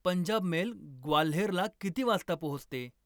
Punjab mail ग्वाल्हेरला किती वाजता पोहोचते?